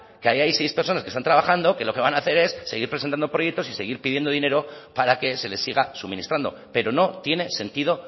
que haya ahí seis personas que están trabajando que lo que van a hacer es seguir presentando proyectos y seguir pidiendo dinero para que se les siga suministrando pero no tiene sentido